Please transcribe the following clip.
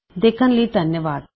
ਦੇਖਣ ਲਈ ਧੰਨਵਾਦ